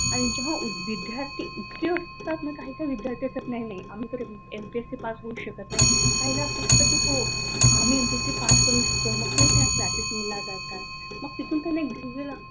आणि जेव्हा विद्यार्थी इतके उस्ताहित असतात ना तर आणि काय काय तर विद्यार्थी असतात की नाही नाही आम्ही पास होऊस शकत नाही! एमपीएससी पास करू शकतो मग तेबत्या क्लासेसला जातात मग तिथून तुम्ही इंटरव्यू ला,